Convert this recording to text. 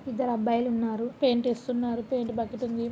ఇద్దరు అబ్బాయిలు ఉన్నారు పెయింట్ వేస్తున్నారు పెయింట్ బకెట్ ఉంది.